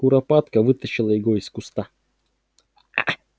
куропатка вытащила его из куста